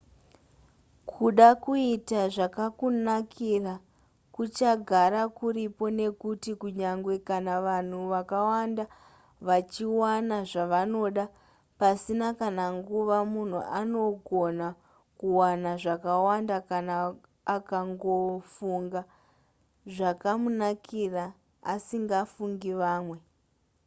kuda kuita zvakakunakira kuchagara kuripo nekuti kunyange kana vanhu vakawanda vachiwana zvavanoda pasina kana nguva munhu anogona kuwana zvakawanda kana akangofunga zvakamunakira asingafungi vamwe